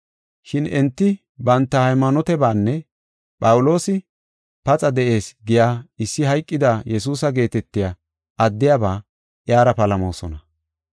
Shin enti banta haymaanotebanne Phawuloosi, ‘Paxa de7ees’ giya issi hayqida Yesuusa geetetiya addiyaba iyara palamoosona.